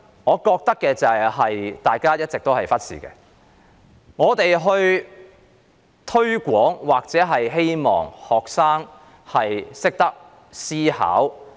我認為大家一直忽視一點，就是我們都希望學生懂得思考。